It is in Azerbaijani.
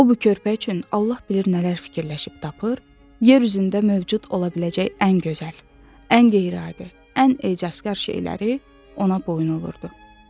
O bu körpə üçün Allah bilir nələr fikirləşib tapır, yer üzündə mövcud ola biləcək ən gözəl, ən qeyri-adi, ən ecazkar şeyləri ona boyun olurdu.